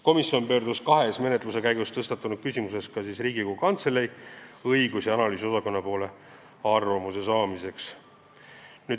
Komisjon pöördus kahes menetluse käigus tõstatunud küsimuses ka Riigikogu Kantselei õigus- ja analüüsiosakonna poole arvamuse saamiseks.